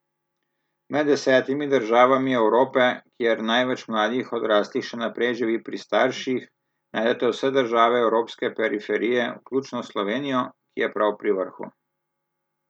Med desetimi državami Evrope, kjer največ mladih odraslih še naprej živi pri starših, najdete vse države evropske periferije, vključno s Slovenijo, ki je prav pri vrhu.